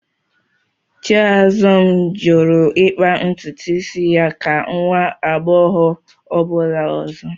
Chiazọm jụrụ ịkpa ntutu isi ya ka nwa agbọghọ ọbụla ọzọ